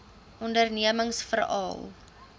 ondernemingsveral